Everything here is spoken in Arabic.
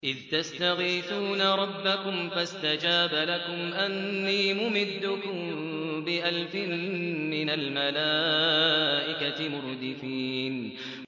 إِذْ تَسْتَغِيثُونَ رَبَّكُمْ فَاسْتَجَابَ لَكُمْ أَنِّي مُمِدُّكُم بِأَلْفٍ مِّنَ الْمَلَائِكَةِ مُرْدِفِينَ